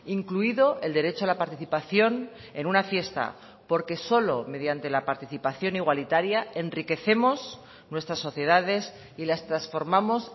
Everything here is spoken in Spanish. incluido el derecho a la participación en una fiesta porque solo mediante la participación igualitaria enriquecemos nuestras sociedades y las transformamos